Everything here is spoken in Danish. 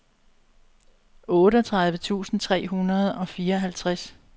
otteogtredive tusind tre hundrede og fireoghalvtreds